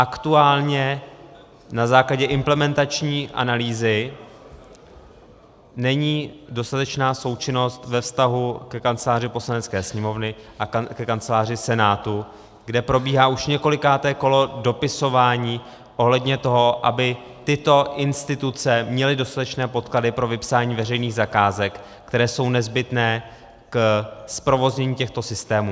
Aktuálně na základě implementační analýzy není dostatečná součinnost ve vztahu ke Kanceláři Poslanecké sněmovny a ke Kanceláři Senátu, kde probíhá už několikáté kolo dopisování ohledně toho, aby tyto instituce měly dostatečné podklady pro vypsání veřejných zakázek, které jsou nezbytné k zprovoznění těchto systémů.